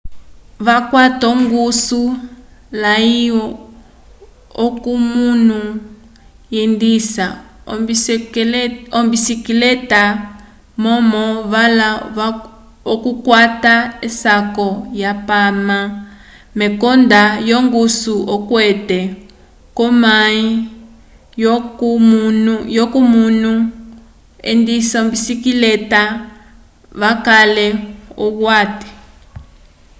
vakwata ongusu ya lwa ko munu hendisa ombisikeleta momo vala okukwata esako ya pama mekonda yo ngusu okwete ko mayi yo ko munu hendisa ombicikeleta vakale ohwate